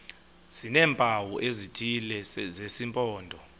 sineempawu ezithile zesimpondo